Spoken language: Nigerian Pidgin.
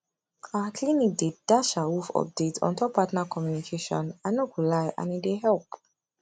our clinic dey dash awoof update ontop partner communication i no go lie and e dey help